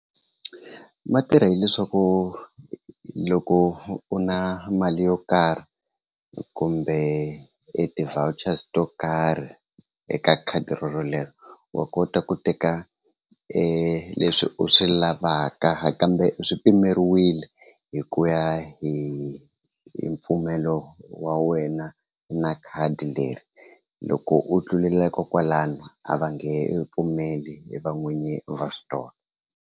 Ma tirha hileswaku loko u na mali yo karhi kumbe e ti-vouchers to karhi eka khadi rorolero wa kota ku teka leswi u swi lavaka kambe swi pimeriwile hi ku ya hi mpfumelo wa wena na khadi leri loko u tlula kokwalano a va nge pfumeli va n'wini va store.